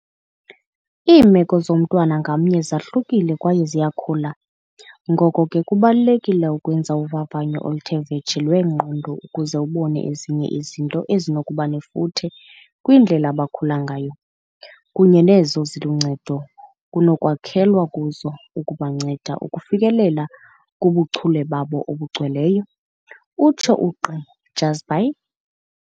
"Iimeko zomntwana ngamnye zahlukile kwaye ziyakhula, ngoko ke kubalulekile ukwenza uvavanyo oluthe vetshe lwengqondo ukuze ubone ezinye izinto ezinokubanefuthe kwindlela abakhula ngayo, kunye nezo ziluncedo kunokwakhelwa kuzo ukubanceda ukufikelela kubuchule babo obugcweleyo," utsho uGq Jhazbhay.